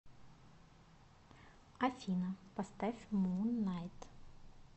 афина поставь муннайт